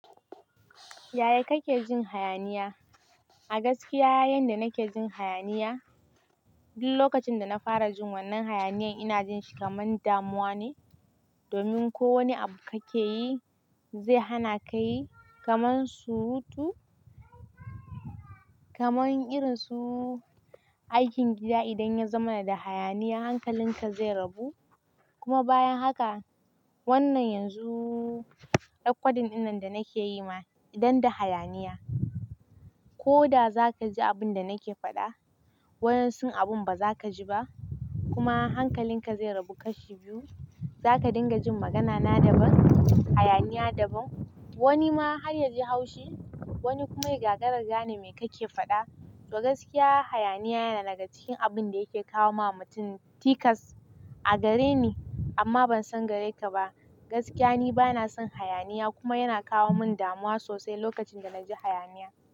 Yaya kake jin hayaniya? A gaskiya, yanda nake jin hayaniya, duk lokacin da na fara jin wannan hayaniyan ina jin shi kamar damuwa ne, domin ko wane abu kake yi zai hana ka yi. Kaman surutu, irin su aikin gida. Idan ya zama da hayaniya, hankalinka zai rabu. Wannan yanzu, recording dinnan da nake yi ma idan da hayaniya, ko da za ka ji abin da nake faɗa, wasu abin ba za ka ji ba kuma hankalinka zai rabu kashi biyu. Za ka dinga jin magana na daban, hayaniya daban. Wani ma har ya ji haushi, wani kuma ya ga raga ne mai kake faɗa. To gaskiya, hayaniya yana daga cikin abin da yake kawo wa mutum tikas a gare ni, amma ban san gare ka ba. Gaskiya, ni bana son hayaniya kuma yana kawo min damuwa sosai lokacin da na ji hayaniya.